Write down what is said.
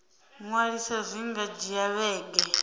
ṅwalisa zwi nga dzhia vhege